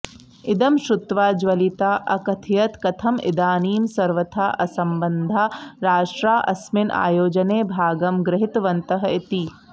इदं श्रुत्वा ज्वलिता अकथयत् कथं इदानीं सर्वथा असम्बधाः राष्ट्राः अस्मिन् आयोजने भागं गृहितवन्तः इति